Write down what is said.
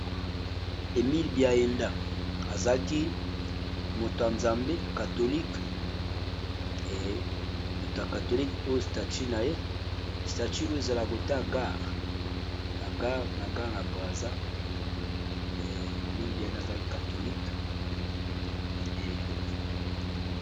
Emil Biaenda azaaki motoya nzambe katholique e moto ya katholique oyo statu na ye statu oyo ezala kota gar na gar na gar na brasil emilbi enda azaki katholike.